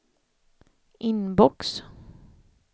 inbox